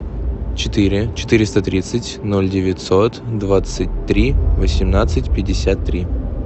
четыре четыреста тридцать ноль девятьсот двадцать три восемнадцать пятьдесят три